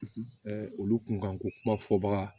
olu kun kan ko kuma fɔ baga